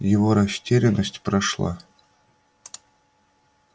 его растерянность прошла